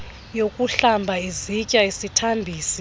yokuhlamba izitya isithambisi